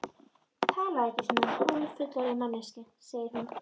Talaðu ekki svona, hálffullorðin manneskjan, segir hún.